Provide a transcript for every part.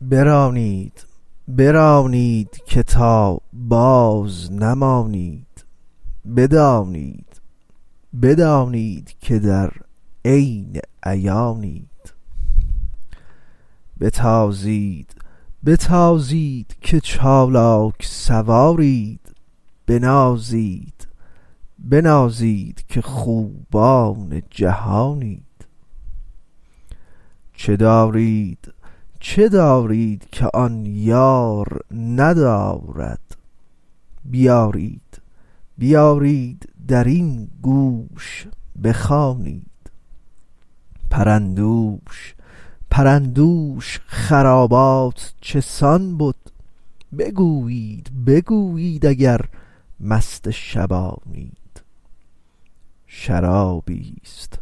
برانید برانید که تا بازنمانید بدانید بدانید که در عین عیانید بتازید بتازید که چالاک سوارید بنازید بنازید که خوبان جهانید چه دارید چه دارید که آن یار ندارد بیارید بیارید در این گوش بخوانید پرندوش پرندوش خرابات چه سان بد بگویید بگویید اگر مست شبانید شرابیست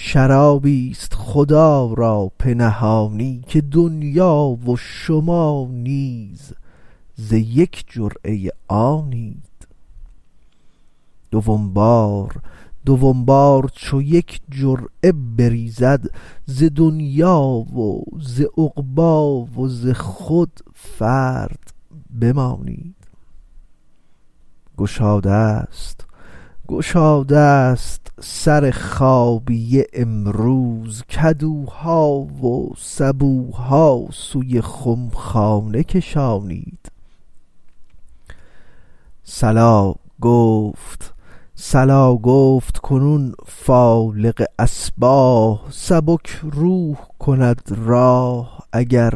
شرابیست خدا را پنهانی که دنیا و شما نیز ز یک جرعه آنید دوم بار دوم بار چو یک جرعه بریزد ز دنیا و ز عقبی و ز خود فرد بمانید گشادست گشادست سر خابیه امروز کدوها و سبوها سوی خمخانه کشانید صلا گفت صلا گفت کنون فالق اصباح سبک روح کند راح اگر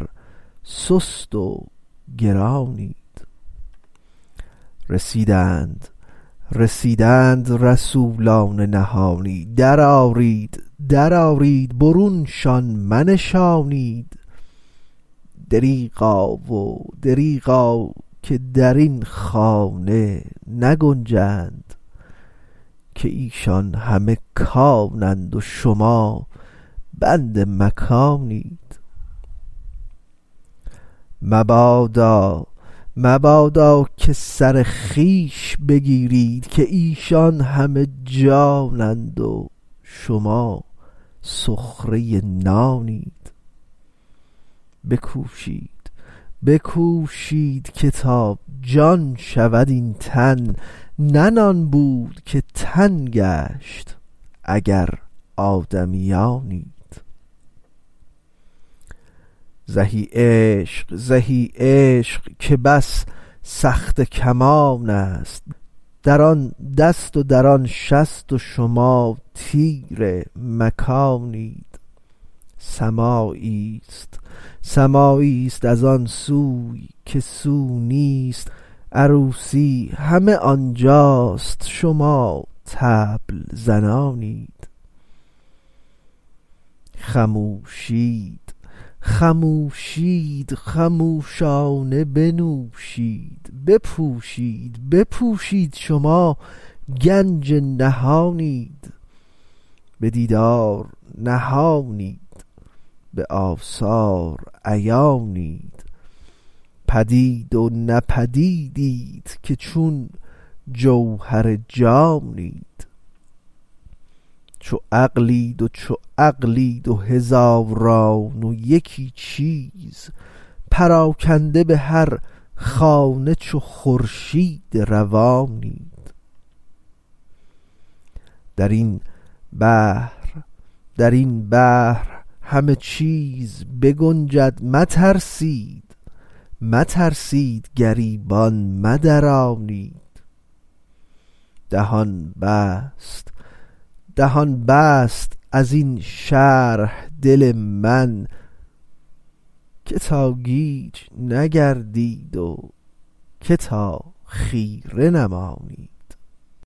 سست و گرانید رسیدند رسیدند رسولان نهانی درآرید درآرید برونشان منشانید دریغا و دریغا که در این خانه نگنجند که ایشان همه کانند و شما بند مکانید مبادا و مبادا که سر خویش بگیرید که ایشان همه جانند و شما سخره نانید بکوشید بکوشید که تا جان شود این تن نه نان بود که تن گشت اگر آدمیانید زهی عشق و زهی عشق که بس سخته کمانست در آن دست و در آن شست و شما تیر مکانید سماعیست سماعیست از آن سوی که سو نیست عروسی همه آن جاست شما طبل زنانید خموشید خموشید خموشانه بنوشید بپوشید بپوشید شما گنج نهانید به دیدار نهانید به آثار عیانید پدید و نه پدیدیت که چون جوهر جانید چو عقلید و چو عقلید هزاران و یکی چیز پراکنده به هر خانه چو خورشید روانید در این بحر در این بحر همه چیز بگنجد مترسید مترسید گریبان مدرانید دهان بست دهان بست از این شرح دل من که تا گیج نگردید که تا خیره نمانید